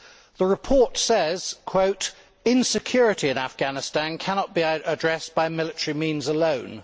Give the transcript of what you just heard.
The report says Insecurity in Afghanistan cannot be addressed by military means alone'.